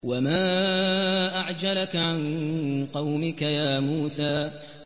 ۞ وَمَا أَعْجَلَكَ عَن قَوْمِكَ يَا مُوسَىٰ